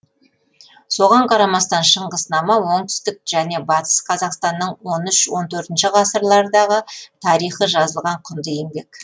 соған қарамастан шыңғыснама оңтүстік және батыс қазақстанның он үш он төртінші ғасырлардағы тарихы жазылған құнды еңбек